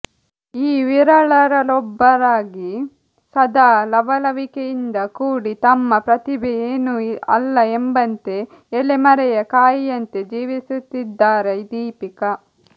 ಈ ವಿರಳರಲ್ಲೊಬ್ಬರಾಗಿ ಸದಾ ಲವಲವಿಕೆಯಿಂದ ಕೂಡಿ ತಮ್ಮ ಪ್ರತಿಭೆ ಏನೂ ಅಲ್ಲ ಎಂಬಂತೆ ಎಲೆ ಮರೆಯ ಕಾಯಿಯಂತೆ ಜೀವಿಸುತ್ತಿದ್ದಾರೆ ದೀಪಿಕ